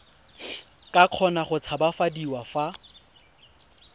ka kgona go tshabafadiwa fa